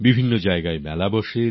বিভিন্ন জায়গায় মেলা হয়